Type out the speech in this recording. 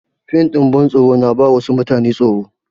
Fim ɗin bantsoro na ba wasu mutanen tsoro.